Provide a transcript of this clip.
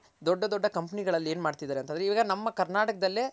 ದೊಡ್ಡ ದೊಡ್ಡ ಕಂಪನಿ ಗಳಲ್ಲಿ ಏನ್ ಮಾಡ್ತಿದಾರೆ ಅಂತ ಅಂದ್ರೆ ಈಗ ನಮ್ಮ ಕರ್ನಾಟಕದಲ್ಲೇ